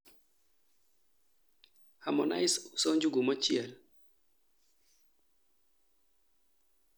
Harmonize uso njugu mochiel